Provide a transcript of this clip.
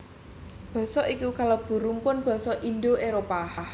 Basa iki kalebu rumpun basa Indo Éropah